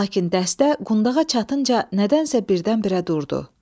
Lakin dəstə qundağa çatınca nədənsə birdən-birə durdu.